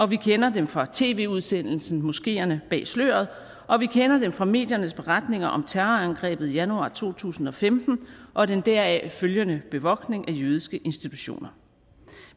vi kender dem fra tv udsendelsen moskeerne bag sløret og vi kender det fra mediernes beretninger om terrorangrebet i januar to tusind og femten og den deraf følgende bevogtning af jødiske institutioner